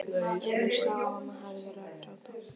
Emil sá að mamma hafði verið að gráta.